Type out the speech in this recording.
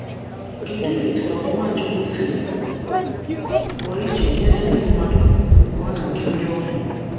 Kedu etú àgwà Nwachukwu siri pụo iche nyere ndị mmadụ, pụo na nke ndi ọbịa!